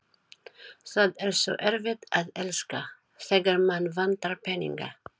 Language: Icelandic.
Það er svo erfitt að elska, þegar mann vantar peninga